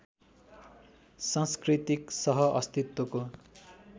सांस्कृतिक सह अस्तित्वको